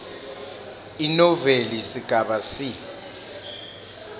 inoveli sigaba c